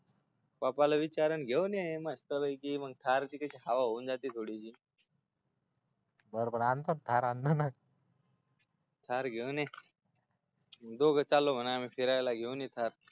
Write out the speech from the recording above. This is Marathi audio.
पप्पाला विचार आणि मग घेऊन येे मस्तपैकी थारची कशी हवा होऊदे थोडी बर बर मग कार आणतो मग थार घेऊन दोघ चाललो म्हणाव आम्ही फिरायला एक साथ फिरायला घेऊन ये थार